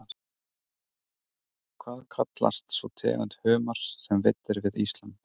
Hvað kallast sú tegund humars sem veidd er við Ísland?